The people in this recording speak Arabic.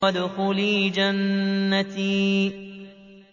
وَادْخُلِي جَنَّتِي